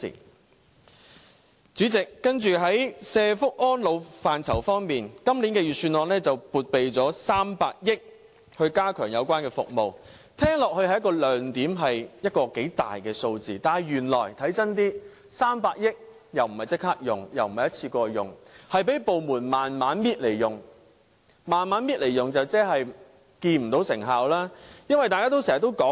代理主席，接着在社福安老範疇，今年預算案撥備300億元加強有關服務，聽起來是一個亮點，是一個頗大的數目，但看真一點 ，300 億元並不是立刻用，也不是一次過用，是讓部門慢慢逐步使用，這樣做即是看不到成效。